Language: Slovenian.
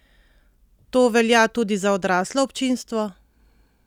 To velja tudi za odraslo občinstvo?